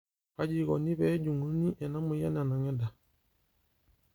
Kaji ikoni pee ejunguni ena amoyian e nang'ida?